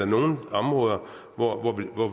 nogle områder hvor